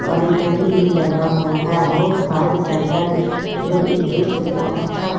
और एक घड़ी भी लगा हुआ है बहुत सारे साइकिल जो इस दृश्य को अच्छा।